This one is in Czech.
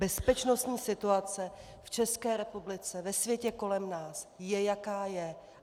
Bezpečnostní situace v České republice, ve světě kolem nás je, jaká je.